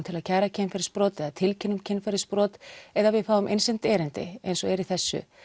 til að kæra kynferðisbrot eða tilkynna kynferðisbrot eða við fáum innsent erindi eins og er í þessu